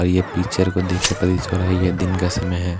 और ये पिक्चर को देखके प्रतीत हो रहा है यह दिन का समय हैं।